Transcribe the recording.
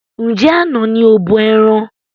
Njẹ àna ní o bọ ẹran?